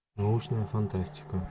научная фантастика